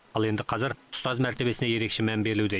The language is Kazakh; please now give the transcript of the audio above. ал енді қазір ұстаз мәртебесіне ерекше мән берілуде